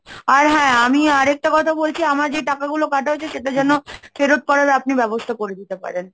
আর হ্যাঁ আমি আর একটা কথা বলছি আমার যে টাকাগুলো কাটা হয়েছে সেটা যেন ফেরত করার আপনি ব্যবস্থা করে দিতে পারেন।